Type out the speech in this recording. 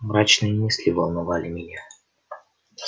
мрачные мысли волновали меня